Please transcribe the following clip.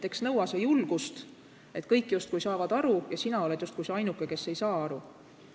Eks nõua see julgust, kui kõik justkui saavad aru ja sina oled nagu see ainuke, kes ei saa aru.